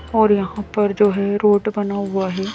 और यहां पर जो है रोड बना हुआ है।